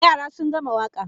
Yara sun gama waka.